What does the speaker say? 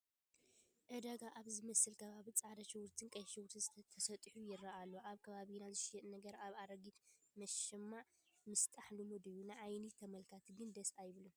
ዕዳጋ ኣብ ዝመስል ከባቢ ፃዕዳ ሽጉርትን ቀይሕ ሽጉርትን ተሰጢሑ ይርአ ኣሎ፡፡ ኣብ ከባቢና ዝሽየጥ ነገር ኣብ ኣረጊት መሸማዕ ምስጣሕ ልሙድ እዩ፡፡ ንዓይኒ ተመልካቲ ግን ደስ ኣይብልን፡፡